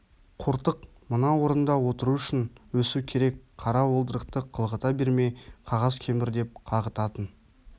қортық мына орында отыру үшін өсу керек қара уылдырықты қылғыта бермей қағаз кемір деп қағытатын